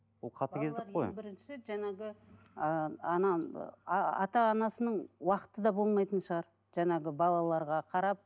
ең бірінші ыыы ана ата анасының уақыты да болмайтын шығар балаларға қарап